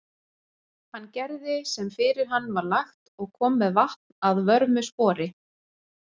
Hann gerði sem fyrir hann var lagt og kom með vatn að vörmu spori.